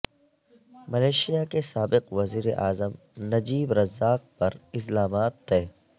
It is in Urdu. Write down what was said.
ملیشیا کے سابق وزیر اعظم نجیب رزاق پر ازلامات طے